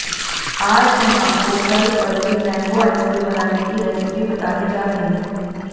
आज हम आपको घर पर ही मैंगो आइसक्रीम बनाने की रेसिपी बताने जा रहे हैं